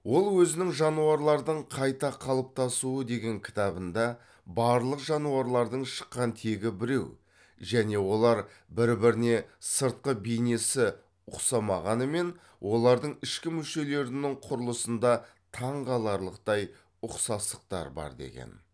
ол өзінің жануарлардың қайта қалыптасуы деген кітабында барлық жануарлардың шыққан тегі біреу және олар бір біріне сыртқы бейнесі ұқсамағанымен олардың ішкі мүшелерінің құрылысында таңқаларлықтай ұқсастықтар бар деген